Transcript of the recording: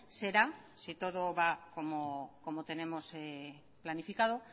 será si todo va como tenemos planificado